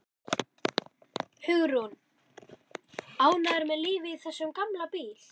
Hugrún: Ánægður með lífið í þessum gamla bíl?